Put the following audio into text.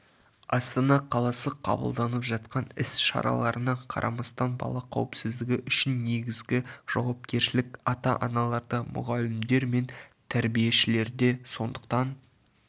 астана қаласы қабылданып жатқан іс-шараларына қарамастан бала қауіпсіздігі үшін негізгі жауапкершілік ата-аналарда мұғалімдер мен тәрбиешілерінде сондықтан